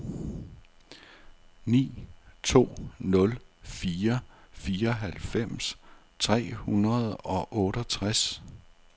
ni to nul fire fireoghalvfems tre hundrede og otteogtres